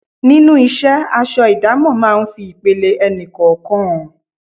Nínú isẹ́, aṣọ idamo máa ń fi ipele ẹni kọ̀ọ̀kan hàn.